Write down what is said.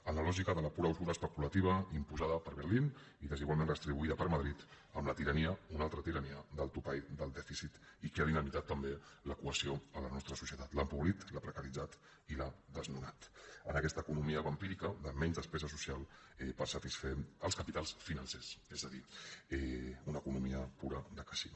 en la lògica de la pura usura especulativa imposada per berlín i des igualment redistribuïda per madrid amb la tirania una altra tirania del topall del dèficit i que ha dinamitat també la cohesió a la nostra societat l’ha empobrit la precaritzat i l’ha desnonat en aquesta economia vampírica de menys despesa social per satisfer els capitals financers és a dir una economia pura de casino